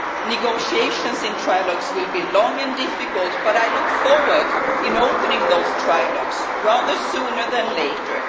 Negotiations in trilogues will be long and difficult, but I look forward to opening those trilogues sooner rather than later.